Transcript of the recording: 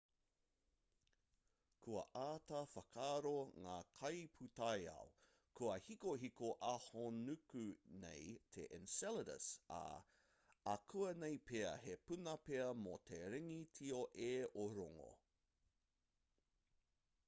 kua āta whakaaro ngā kaipūtaiao kua hikohiko ahonuku nei te enceladus ā akuanei pea he puna pea mō te ringi tio e o rongo